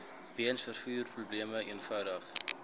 weens vervoerprobleme eenvoudig